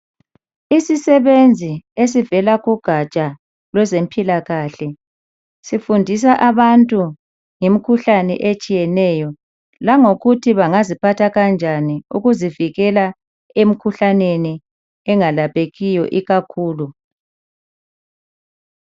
Izisebenzi esivela kugatsha lwezempilakahle ifundisa abantu ngemkhuhlane etshiyeneyo langokuthi bangaziphatha kanjani ukuzivikela emkhuhlaneni engelaphekiyo ikakhulu.